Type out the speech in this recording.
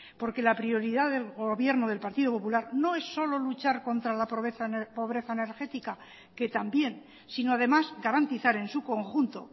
porque la prioridad del gobierno del partido popular no es solo luchar contra la pobreza energética que también sino además garantizar en su conjunto